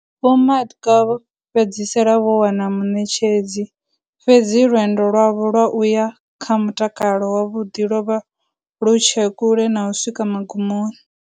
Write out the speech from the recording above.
Vho Madka vho fhedzisela vho wana muṋetshedzi, fhedzi lwendo lwavho lwa u ya kha mutakalo wavhuḓi lwo vha lwu tshe kule na u swika magumoni.